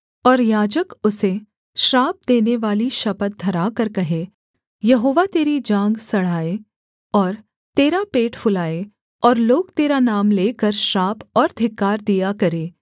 और याजक उसे श्राप देनेवाली शपथ धराकर कहे यहोवा तेरी जाँघ सड़ाए और तेरा पेट फुलाए और लोग तेरा नाम लेकर श्राप और धिक्कार दिया करें